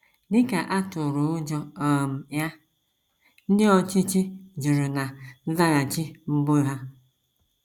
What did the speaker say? Dị ka a tụrụ ụjọ um ya, ndị ọchịchị jụrụ ná nzaghachi mbụ ha.